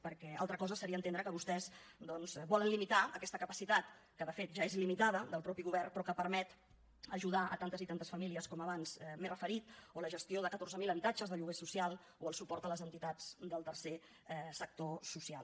perquè altra cosa seria entendre que vostès volen limitar aquesta capacitat que de fet ja és limitada del mateix govern però que permet ajudar tantes i tantes famílies com abans m’he referit o la gestió de catorze mil habitatges de lloguer social o el suport a les entitats del tercer sector social